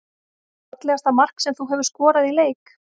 Fallegasta mark sem þú hefur skorað í leik?